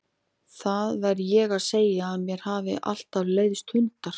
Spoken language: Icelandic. Það verð ég að segja að mér hafa alltaf leiðst hundar.